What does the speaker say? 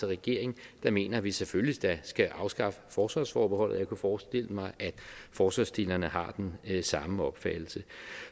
regering der mener at vi selvfølgelig da skal afskaffe forsvarsforbeholdet og forestille mig at forslagsstillerne har den samme opfattelse